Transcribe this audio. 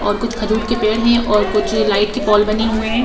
और कुछ खजूर के पेड़ हैं और कुछ लाइट की पोल बने हुए हैं।